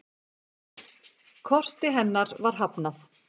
Korti hennar var hafnað.